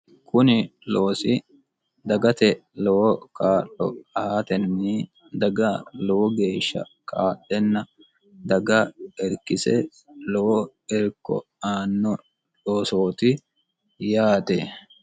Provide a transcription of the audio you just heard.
kuni loosi dagate lowo kaa'lo aatenni daga lowo geeshsha kaadhenna daga erkise lowo erko aanno dhoosooti yaate